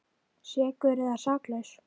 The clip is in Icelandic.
Sekur eða saklaus?